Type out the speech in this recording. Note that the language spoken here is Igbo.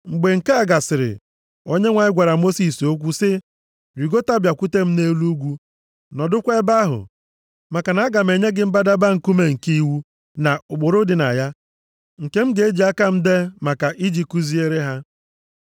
Mgbe nke a gasịrị, Onyenwe anyị gwara Mosis okwu sị, “Rigota, bịakwute m nʼelu ugwu, nọdụkwa ebe ahụ, maka na aga m enye gị mbadamba nkume nke iwu na ụkpụrụ dị na ya, nke m ji aka m dee maka i ji kuziere ha.”